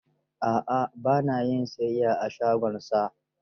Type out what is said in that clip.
A'a ba na yin siyayya a shagonsa.